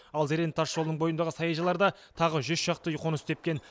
ал зеренді тасжолының бойындағы саяжайларда тағы жүз шақты үй қоныс тепкен